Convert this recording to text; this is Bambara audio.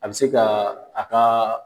An bi se ka a ka